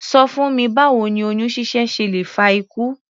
Ṣọ fún mi báwo ni oyún ṣíṣẹ́ ṣe lè fa ikú?